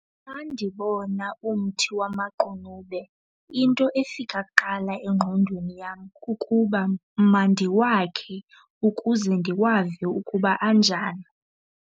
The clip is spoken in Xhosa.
Xa ndibona umthi wamaqunube into efika kuqala engqondweni yam kukuba mandiwakhe ukuze ndiwave ukuba anjani.